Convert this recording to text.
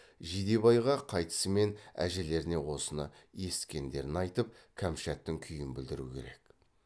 жидебайға қайтысымен әжелеріне осы есіткендерін айтып кәмшаттың күйін білдіру керек